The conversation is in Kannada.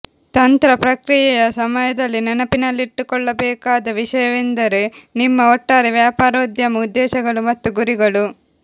ತಂತ್ರ ಪ್ರಕ್ರಿಯೆಯ ಸಮಯದಲ್ಲಿ ನೆನಪಿನಲ್ಲಿಟ್ಟುಕೊಳ್ಳಬೇಕಾದ ವಿಷಯವೆಂದರೆ ನಿಮ್ಮ ಒಟ್ಟಾರೆ ವ್ಯಾಪಾರೋದ್ಯಮ ಉದ್ದೇಶಗಳು ಮತ್ತು ಗುರಿಗಳು